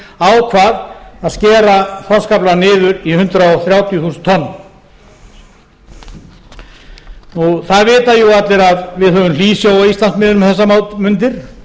ríkisstjórnin ákvað að skera þorskaflann niður í hundrað þrjátíu þúsund tonn það veita jú allir að við höfum hlýsjó á íslandsmiðum um þessar mundir